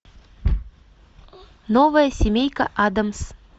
новая семейка адамс